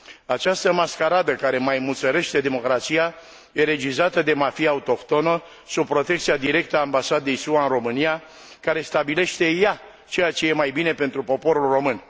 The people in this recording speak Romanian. Această mascaradă care maimuțărește democrația e regizată de mafia autohtonă, sub protecția directă a Ambasadei SUA în România, care stabilește ea ceea ce e mai bine pentru poporul român.